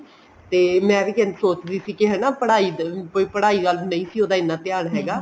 ਤੇ ਮੈਂ ਵੀ ਇੰਝ ਸੋਚ ਰਹੀ ਸੀ ਕੇ ਪੜਾਈ ਪੜਾਈ ਵੱਲ ਨਹੀਂ ਸੀ ਉਹਦਾ ਇੰਨਾ ਧਿਆਨ ਹੈਗਾ